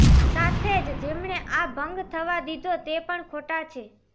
સાથે જ જેમણે આ ભંગ થવા દીધો તે પણ ખોટા છે